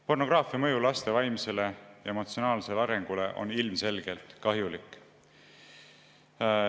Pornograafia mõju laste vaimsele ja emotsionaalsele arengule on ilmselgelt kahjulik.